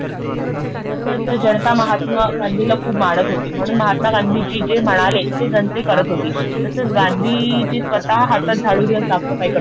कसं असतं जनता महात्मा गांधी ल खूप मनात होती म्हणून महात्मा गांधीजी जे म्हणाले ते जनता करत होती. तसंच गांधीजी स्वतः हातात झाडू घेऊन साफ सफाई करत होते.